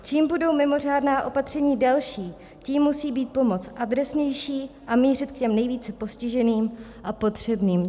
Čím budou mimořádná opatření delší, tím musí být pomoc adresnější a mířit k těm nejvíce postiženým a potřebným.